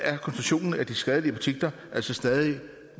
er koncentrationen af de skadelige partikler altså stadig